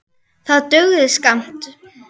Það dugði skammt.